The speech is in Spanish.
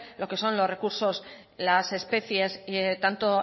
lo que son los recursos las especies tanto